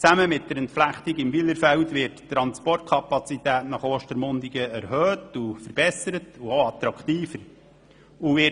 Zusammen mit der Entflechtung im Wylerfeld wird die Transportkapazität nach Ostermundigen erhöht, verbessert und attraktiver gemacht.